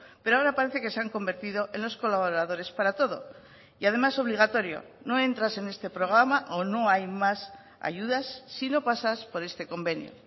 pero ahora parece que se han convertido en los colaboradores para todo y además obligatorio no entras en este programa o no hay más ayudas si no pasas por este convenio